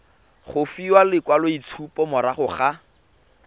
go fiwa lekwaloitshupo morago ga